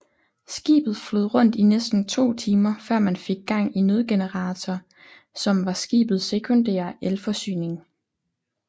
Skibet flød rundt i næsten to timer før man fik gang i nødgeneratorer som var skibet sekundære elforsyning